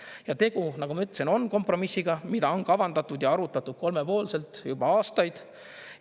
Ja tegu, nagu ma ütlesin, on kompromissiga, mida on kavandatud ja arutatud kolmepoolselt juba aastaid.